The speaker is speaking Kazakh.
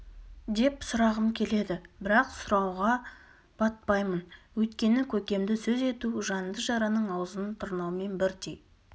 деп сұрағым келеді бірақ сұрауға батпаймын өйткені көкемді сөз ету жанды жараның аузын тырнаумен бірдей